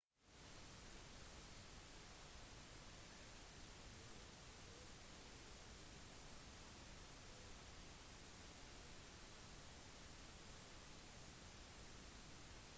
inntektsskatt er strukturert forskjellig i ulike land og skattesatsene og klassene varierer stort fra land til land